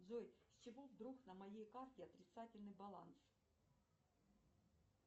джой с чего вдруг на моей карте отрицательный баланс